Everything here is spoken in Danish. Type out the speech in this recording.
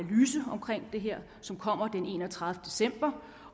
det her som kommer den enogtredivete december